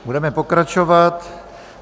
Budeme pokračovat.